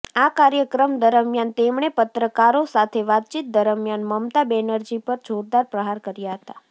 આ કાર્યક્રમ દરમિયાન તેમણે પત્રકારો સાથે વાતચીત દરમિયાન મમતા બેનરજી પર જોરદાર પ્રહાર કર્યા હતા